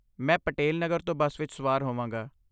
ਮੈਂ ਪਟੇਲ ਨਗਰ ਤੋਂ ਬੱਸ ਵਿੱਚ ਸਵਾਰ ਹੋਵਾਂਗਾ।